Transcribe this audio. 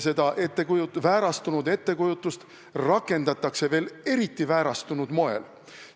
Seda väärastunud ettekujutust rakendatakse veel eriti väärastunud moel.